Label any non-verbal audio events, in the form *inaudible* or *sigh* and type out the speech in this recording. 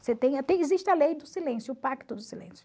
*unintelligible* existe a lei do silêncio, o pacto do silêncio.